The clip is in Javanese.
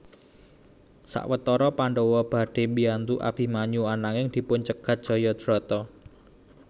Sawetara Pandhawa badhé biyantu Abimanyu ananging dipun cegat Jayadrata